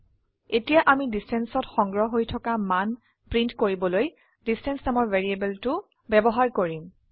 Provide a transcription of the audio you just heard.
এতিয়া আমি distanceঅত সংগ্ৰহ হৈ থকা মান প্ৰিন্ট কৰিবলৈ ডিষ্টেন্স নামৰ ভ্যাৰিয়েবলটো ব্যবহাৰ কৰিম